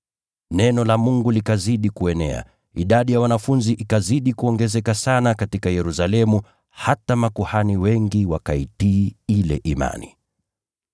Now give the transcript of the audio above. Neno la Mungu likazidi kuenea. Idadi ya wanafunzi ikazidi kuongezeka sana katika Yerusalemu hata makuhani wengi wakaitii ile imani.